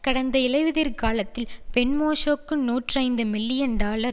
கடந்த இலையுதிர்காலத்தில் பென்மோஷுக்கு நூற்றி ஐந்து மில்லியன் டாலர்